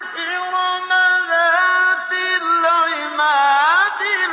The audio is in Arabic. إِرَمَ ذَاتِ الْعِمَادِ